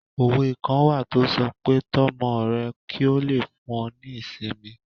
Òwe kan wà tó sọ pé "Tọ́ ọmọ rẹ kí ó lè fún ọ ní ìsinmi"